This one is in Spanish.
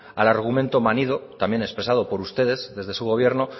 al argumento manido también expresado por ustedes desde su gobierno